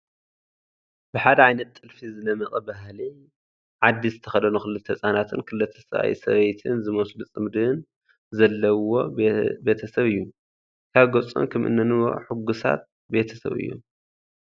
ብሓደ ዓይነት ጥልፊ ዝደመቐ ባህሊ ዓዲ ዝተኸደኑ ክልተ ህፃናትን ክልተ ሰብኣይን ሰበይትን ዝመስሉ ፅምድን ዘለውዎ ቤተ ሰብ እዩ፡፡ ካብ ገፆም ከምእነንብቦ ሕጉሳት ቤተሰብ እዮም፡፡